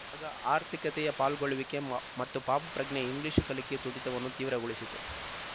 ಹಾಗ ಆರ್ಥಿಕತೆಯ ಪಾಲ್ಗೊಳ್ಳುವಿಕೆ ಮ ಮತ್ತು ಪಾಪಪ್ರಜ್ಞೆಯು ಇಂಗ್ಲೀಷು ಕಲಿಕೆಯ ತುಡಿತವನ್ನು ತೀವ್ರಗೊಳಿಸಿತು